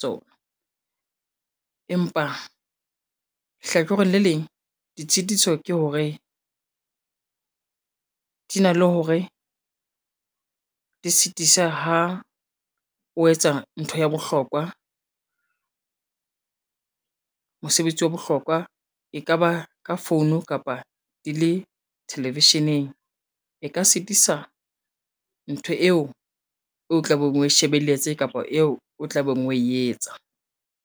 tsona. Empa hlakoreng le leng ditshitiso ke hore, di na le hore di sitisa ha o etsa ntho ya bohlokwa, mosebetsi wa bohlokwa e ka ba ka founu kapa di le television-eng e ka sitisa ntho eo o tla beng we shebelletse kapa eo o tlabeng we etsa.